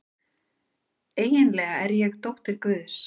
Eiginlega er ég dóttir guðs.